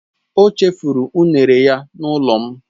O chefuru unere ya n'ulo m